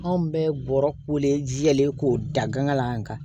Anw bɛ bɔrɔ wele k'o da gana